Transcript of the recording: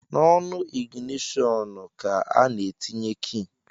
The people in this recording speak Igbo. N’onu iginitọnu ka a na-etinye ki